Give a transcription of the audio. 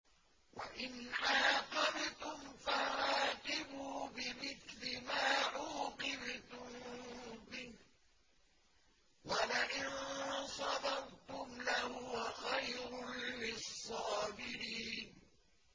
وَإِنْ عَاقَبْتُمْ فَعَاقِبُوا بِمِثْلِ مَا عُوقِبْتُم بِهِ ۖ وَلَئِن صَبَرْتُمْ لَهُوَ خَيْرٌ لِّلصَّابِرِينَ